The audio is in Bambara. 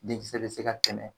Denkisɛ be se ka tɛnɛ